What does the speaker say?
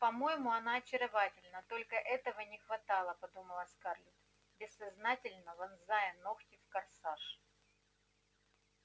по-моему она очаровательна только этого не хватало подумала скарлетт бессознательно вонзая ногти в корсаж